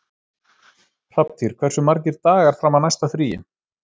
Hrafntýr, hversu margir dagar fram að næsta fríi?